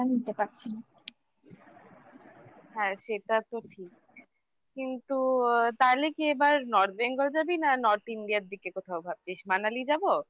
হ্যাঁ সেটা তো ঠিক কিন্তু তাহলে কি এবার North Bengal যাবি না North India দিকে কোথাও ভাবছিস Manali যাব